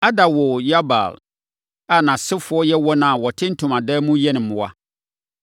Ada woo Yabal a nʼasefoɔ yɛ wɔn a wɔte ntomadan mu yɛn mmoa.